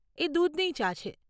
એ દૂધની ચા છે.